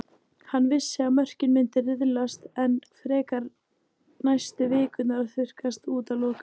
Hann vissi að mörkin myndu riðlast enn frekar næstu vikurnar og þurrkast út að lokum.